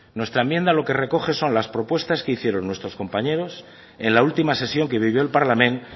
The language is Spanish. nuestra enmienda lo que recoge son las propuestas que hicieron nuestros compañeros en la última sesión que vivió el parlament